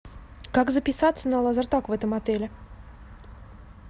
как записаться на лазертаг в этом отеле